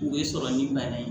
U bɛ sɔrɔ ni bana ye